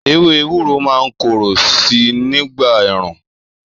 Èwé èwúrò mà ń kòroó si nigba èrún